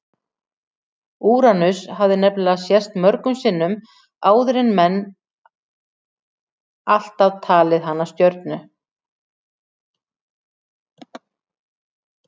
Úranus hafði nefnilega sést mörgum sinnum áður en menn alltaf talið hana stjörnu.